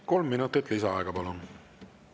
Kolm minutit lisaaega, palun!